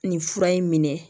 Nin fura in minɛ